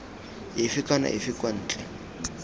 efe kana efe kwa ntle